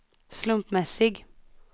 slumpmässig